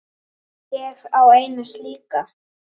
Ég á eina slíka.